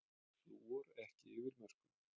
Flúor ekki yfir mörkum